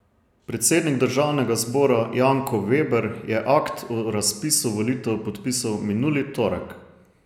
Predsednik državnega zbora Janko Veber je akt o razpisu volitev podpisal minuli torek.